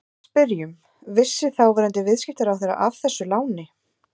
Við spyrjum, vissi þáverandi viðskiptaráðherra af þessu láni?